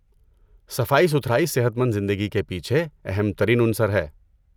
صفائی ستھرائی صحت مند زندگی کے پیچھے اہم ترین عنصر ہے۔